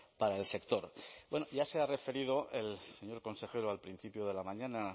para el sector bueno ya se ha referido el señor consejero al principio de la mañana